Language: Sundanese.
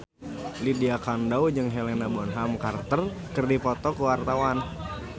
Lydia Kandou jeung Helena Bonham Carter keur dipoto ku wartawan